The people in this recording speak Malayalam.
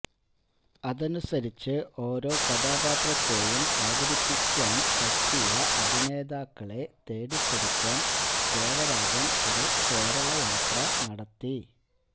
അതനുസരിച്ച് ഓരോ കഥാപാത്രത്തെയും അവതരിപ്പിക്കാന് പറ്റിയ അഭിനേതാക്കളെ തേടിപ്പിടിക്കാന് ദേവരാജന് ഒരു കേരളയാത്ര നടത്തി